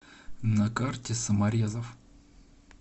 на карте саморезов